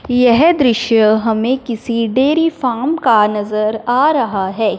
यह दृश्य हमें किसी डेरी फार्म का नजर आ रहा है।